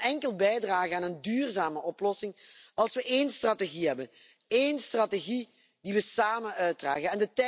Europa kan enkel bijdragen aan een duurzame oplossing als wij één strategie hebben, één strategie die wij samen uitdragen.